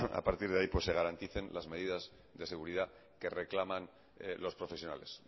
a partir de ahí se garanticen las medidas de seguridad que reclaman los profesionales